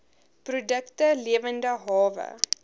produkte lewende hawe